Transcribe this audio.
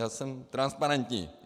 Já jsem transparentní.